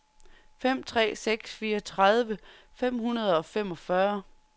fem tre seks fire tredive fem hundrede og femogfyrre